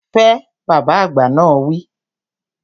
Fẹ! Bàbá àgbà náà wi